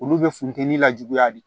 Olu bɛ funteni lajuguya de